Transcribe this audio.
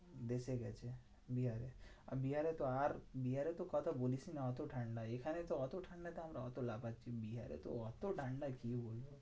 দেশে গেছে বিহারে। আর বিহারে তো, আর বিহারের তো কথা বলিসনা এত ঠান্ডা, এখানে তো এত ঠান্ডাটা আমরা লাগাচ্ছি বিহারেতো ওত্তো ঠান্ডা কি বলবো?